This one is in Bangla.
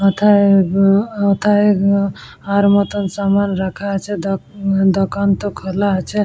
ওথায় বু ওথায় ও আর মতো সামান রাখা আছে দ দোকান তো খোলা আছে।